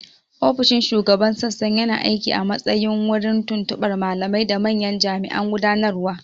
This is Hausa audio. Ofishin Shugaban Sassan yana aiki a matsayin wurin tuntuɓar malamai da manyan jami'an gudanarwa.